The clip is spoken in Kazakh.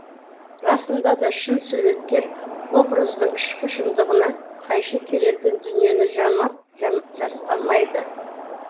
расында да шын суреткер образдың ішкі шындығына қайшы келетін дүниені жамап жасқамайды